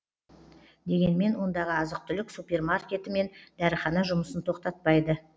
дегенмен ондағы азық түлік супермаркеті мен дәріхана жұмысын тоқтатпайды